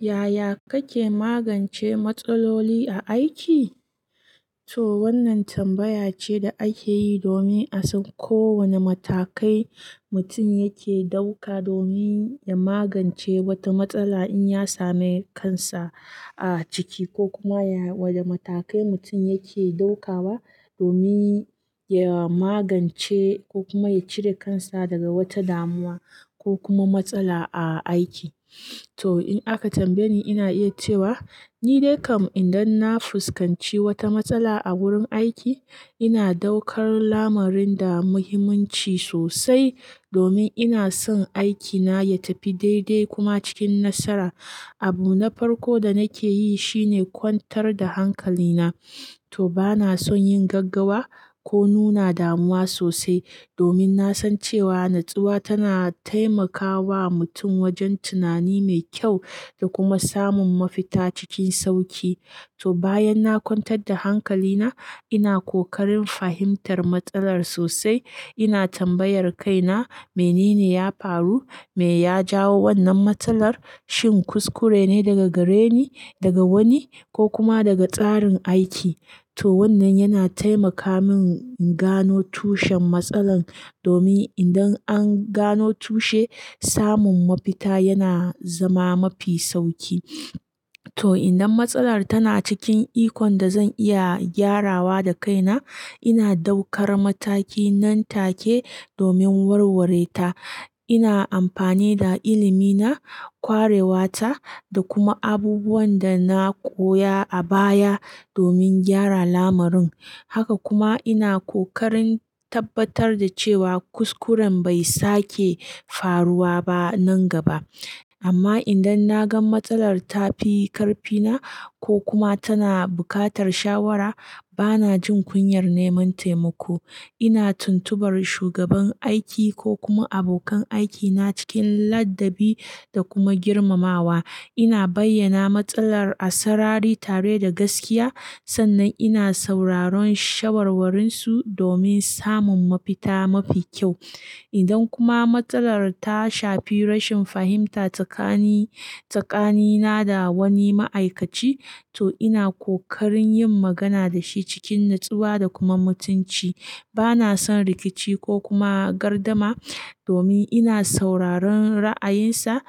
Yaya kake magance matsaloli a aiki? To wannan tambaya ce da ake yi domin a san ko wane matakai mutum yake ɗauka domin ya magance wata matsala in ya same kansa a ciki ko kuma ya, wada matakai mutum yake ɗaukawa domin ya magance ko kuma ya cire kansa daga wata damuwa ko kuma matsala a aiki. To in aka tambaye ni ina iya cewa ni dai kam idan na fuskanci wata matsala a wurin aiki ina daukar lamarin da muhimmanci sosai domin ina son aikina ya tafi daidai kuma cikin nasara. Abu na farko da nake yi shine kwantar da hankalina. To bana son yin gaggawa ko nuna damuwa sosai domin na san cewa natsuwa tana taimakawa mutum wajen tunani mai kyau da kuma samun mafita cikin sauƙi. To bayan na kwantar da hankalina ina kokarin fahimtar matsalar sosai. Ina tambayar kaina me nene ya faru, me ya jawo wannan matsalar, shin kuskure ne daga gareni, daga wani ko kuma daga tsarin aiki. To wannan yana taimaka min in gano tushen matsalar domin idan an gano tushe samun mafita yana zama mafi sauƙi. To idan matsalar tana cikin ikon da zan iya gyarawa da kaina ina daukar mataki nan take domin warware ta. Ina amfani da ilimi na, kwarewa ta da kuma abubuwan da na koya a baya domin gyara lamarin. Haka kuma ina kokarin tabbatar da cewa kuskuren bai sake faruwa ba nan gaba. Amma idan na gan matsalar ta fi karfina ko kuma tana buƙatar shawara bana jin kunyar neman taimako. Ina tuntubar shugaban aiki ko kuma abokan aikina cikin ladabi da kuma girmamawa. Ina bayyana matsalar a sarari tare da gaskiya sannan ina sauraron shawarwarinsu domin samun mafita mafi kyau. Idan kuma matsalar ta shafi rashin fahimta tsakani, tsakanina da wani ma'aikaci to ina kokarin yin magana da shi cikin natsuwa da kuma mutunci. Bana son rikici ko kuma gardama domin ina sauraron ra'ayinsa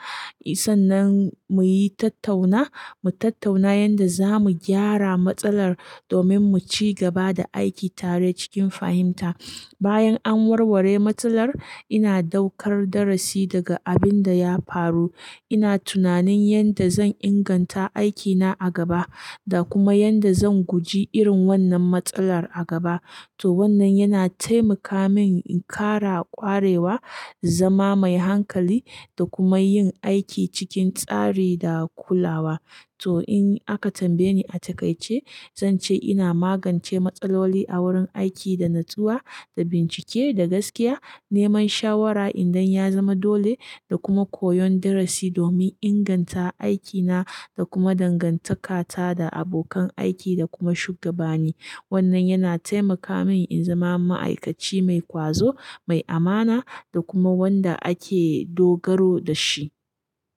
sannan mu yi tattauna, mu tattauna yanda zamu gyara matsalar domin mu ci gaba da aiki tare cikin fahimta. Bayan an warware matsalar ina daukar darasi daga abin da ya faru. Ina tunanin yadda zan inganta aikina a gaba da kuma yadda zan guji irin wannan matsalar a gaba. To wannan yana taimaka min in ƙara kwarewa, zama mai hankali da kuma yin aiki cikin tsari da kulawa. To in aka tambaye ni a takaice zan ce ina magance matsaloli a wurin aiki da natsuwa, da bincike, da gaskiya, neman shawara idan ya zama dole da kuma koyon darasi domin inganta aikina da kuma dangantakata da abokan aiki da kuma shugabani. Wannan yana taimaka min in zama ma'aikaci mai ƙwazo, mai amana da kuma wanda ake dogaro da shi.